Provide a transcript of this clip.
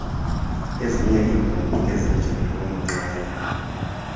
iezinye iimbongi ezinjengoomqhayi